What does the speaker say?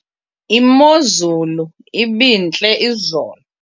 imozulu ibintle izolo